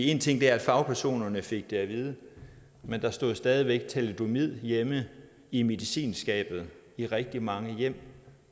én ting er at fagpersonerne fik det at vide men der stod stadig væk thalidomid hjemme i medicinskabet i rigtig mange hjem